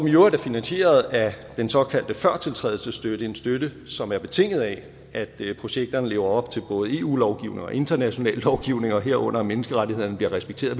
i øvrigt finansieret af den såkaldte førtiltrædelsesstøtte en støtte som er betinget af at projekterne lever op til både eu lovgivning og international lovgivning herunder at menneskerettighederne bliver respekteret